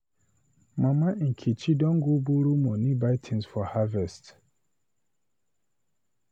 Mama Nkechi don go borrow money buy things for harvest